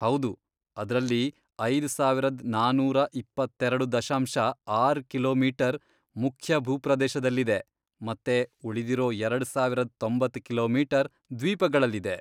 ಹೌದು, ಅದ್ರಲ್ಲಿ ಐದ್ ಸಾವರದ್ ನಾನೂರ ಇಪ್ಪತ್ತೆರೆಡು ದಶಾಂಶ ಆರ್ ಕಿಲೋಮೀಟರ್, ಮುಖ್ಯ ಭೂಪ್ರದೇಶದಲ್ಲಿದೆ ಮತ್ತೆ ಉಳಿದಿರೋ ಎರಡ್ ಸಾವರದ್ ತೊಂಬತ್ತ್ ಕಿಲೋಮೀಟರ್ ದ್ವೀಪಗಳಲ್ಲಿದೆ.